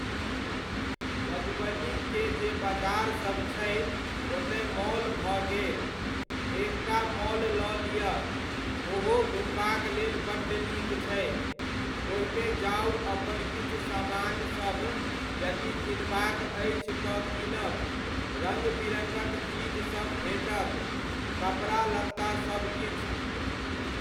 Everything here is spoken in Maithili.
मधुबनीके जे बजारसभ छै, ओतय मॉल भऽ गेल। एकटा मॉल लऽ लिअ, ओहो घूमबाक लेल बड्ड नीक छै। ओहिमे जाउ अपन किछु समानसभ यदि किनबाक अछि, तऽ कीनब, रङ्ग बिरङ्गक चीजसभ भेटत, कपड़ा लत्ता सभ किछु।